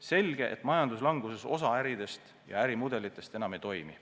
Selge, et majanduslanguse korral osa äridest ja ärimudelitest enam ei toimi.